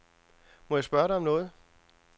Må jeg spørge dig om noget.